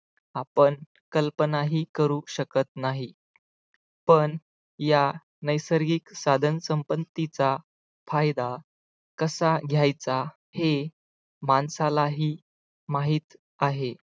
आपण कल्पनाही करू शकत नाही, पण या नैसर्गिक साधन संपत्तीचा फायदा कसा घ्यायचा हे माणसालाही माहित आहे.